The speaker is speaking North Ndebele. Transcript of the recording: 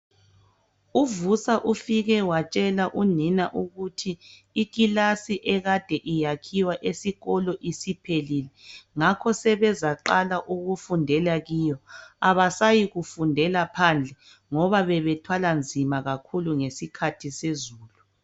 UVusa ufike watshela unina ukuthi ikilasi ekade iyakhiwa esikolo isiphelile ngakho sebezaqala ukufundela kiyo abasayi kufundela phandle ngoba bebethwala nzima kakhulu ngesikhathi sezulu.